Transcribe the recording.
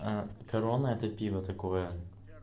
аа корона это пиво такое